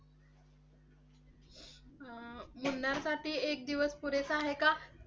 मुन्नार साठी एक दिवस पुरेसा आहे का?